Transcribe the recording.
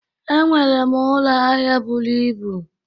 E nwere m ụlọ ahịa bụrụ ịbụ